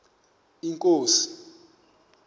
inkosi